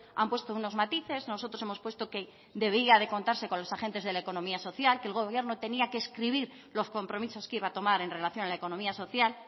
han puesto unos matices nosotros hemos puesto que debía de contarse con los agentes de la economía social que el gobierno tenía que escribir los compromisos que iba a tomar en relación a la economía social